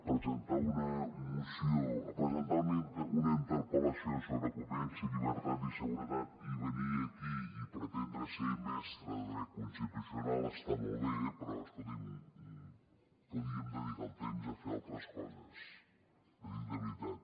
presentar una interpel·lació sobre convivència llibertat i seguretat i venir aquí i pretendre ser mestre de dret constitucional està molt bé però escolti’m podríem dedicar el temps a fer altres coses l’hi dic de veritat